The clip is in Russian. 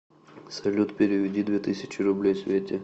салют переведи две тысячи рублей свете